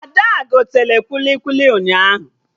Ada gotere kwili kwili ụnyaahụ